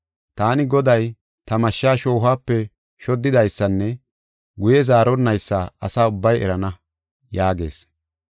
Taani Goday, ta mashsha shoohuwape shoddidaysanne guye zaaronnaysa asa ubbay erana’ ” yaagees.